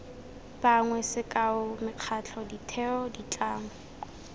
bangwe sekao mekgatlho ditheo ditlamo